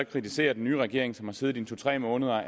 kritiserer den nye regering som har siddet i to tre måneder